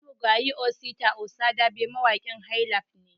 Marigayi Osita Osadabe mawaƙin "highlife" ne